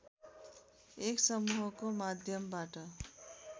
एक समुहको माध्यमबाट